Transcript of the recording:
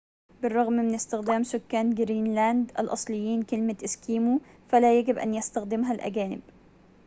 بالرغم من استخدام سكان جرينلاند الأصليين كلمة إسكيمو فلا يجب أن يستخدمها الأجانب